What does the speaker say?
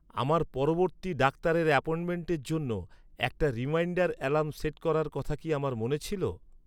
আমার পরবর্তী ডাক্তারের অ্যাপয়েন্টমেন্টের জন্য একটা রিমাইন্ডার অ্যালার্ম সেট করার কথা কি আমার মনে ছিল?